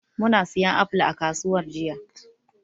Muna siyan apple a kasuwar jiya.